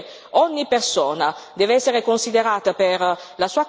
Io credo che ogni persona debba essere considerata per quello che